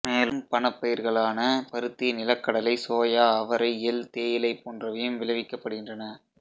மேலும் பணப்பயிர்களான பருத்தி நிலக்கடலை சோயா அவரை எள் தேயிலை போன்றவையும் விளைவிக்கப்படுகின்றன